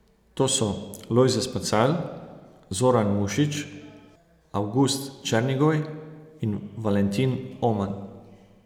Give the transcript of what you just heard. To so Lojze Spacal, Zoran Mušič, Avgust Černigoj in Valentin Oman.